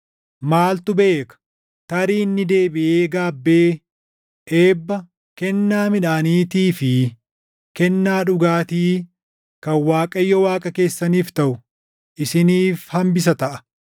Maaltu beeka? Tarii inni deebiʼee gaabbee eebba, kennaa midhaaniitii fi kennaa dhugaatii kan Waaqayyo Waaqa keessaniif taʼu isiniif hambisa taʼa.